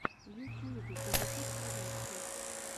в ютьюбе позитивпродакшн